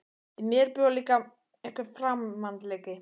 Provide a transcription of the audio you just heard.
Í mér bjó líka einhver framandleiki.